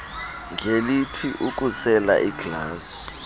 ngelithi ukusela iglasi